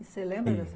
E você lembra dessa